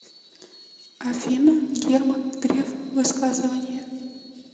афина герман греф высказывания